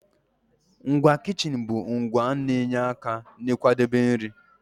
Ngwa kichin bụ ngwa na-enye aka n'ịkwadebe nri.